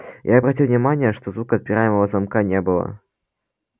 я обратил внимание что звука отпираемого замка не было